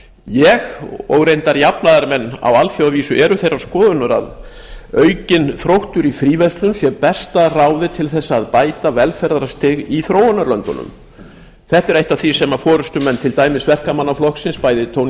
ég og reyndar jafnaðarmenn á alþjóðavísu erum þeirrar skoðunar að aukinn þróttur í fríverslun sé besta ráðið til þess að bæta velferðarstig í þróunarlöndunum þetta er eitt af því sem forustumenn til dæmis breska verkamannaflokksins bæði tony blair og